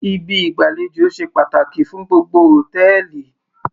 Ibi ìgbàlejò ṣe pàtàkì fún gbogbo hòtẹ́ẹ̀lì